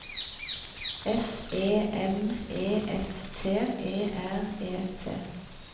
S E M E S T E R E T